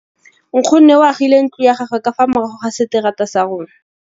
Nkgonne o agile ntlo ya gagwe ka fa morago ga seterata sa rona.